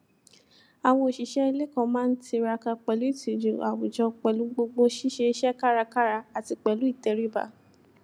àwọn òṣìṣẹ ilé kan má n tiraka pẹlú ìtìjú àwùjọ pẹlú gbogbo ṣíṣe iṣẹ kárakára àti pẹlú ìtẹríba